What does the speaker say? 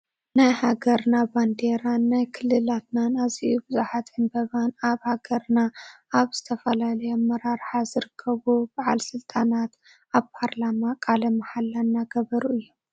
ናይ ሃገርናን ባንዴራንናይ ክልላትናን ኣዝዮ ብዙሓት ዕንበባን ኣብ ሃገርና ኣብ ዝተፈላለዩ ኣመራርሓ ዝርከቡ ባዓል ስልጣናት ኣብ ፓርላማ ቃለ ማሓላ እናገበሩ እዮም።